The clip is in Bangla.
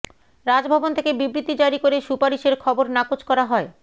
রাজভবন থেকে বিবৃতি জারি করে সুপারিশের খবর নাকচ করা হয়